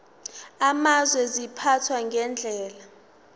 amazwe ziphathwa ngendlela